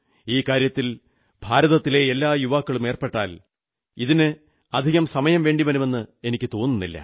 ഈ കാര്യത്തിൽ ഭാരതത്തിലെ എല്ലാ യുവാക്കളും ഏർപ്പെട്ടാൽ ഇതിന് അധികം സമയം വേണ്ടിവരുമെന്ന് എനിക്കു തോന്നുന്നില്ല